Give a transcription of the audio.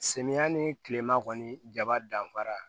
Samiyɛ ni kilema kɔni jaba danfara